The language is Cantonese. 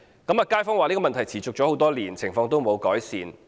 街坊說問題已持續多年，情況沒有改善。